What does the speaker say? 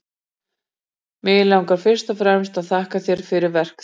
Mig langar fyrst og fremst að þakka þér fyrir verk þín.